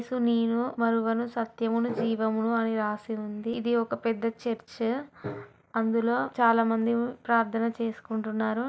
నేను మార్గమును సత్యమును జీవమును అని రాసి ఉంది. ఇది ఒక పెద్ద చేర్చు . అందులో చాలా మంది ప్రార్థన చేసుకుంటున్నారు